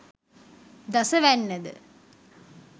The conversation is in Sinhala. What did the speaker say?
දස වැන්න ද,